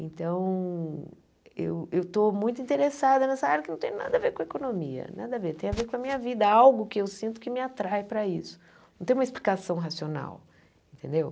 então eu eu estou muito interessada nessa área que não tem nada a ver com economia nada a ver, tem a ver com a minha vida algo que eu sinto que me atrai para isso não tem uma explicação racional entendeu?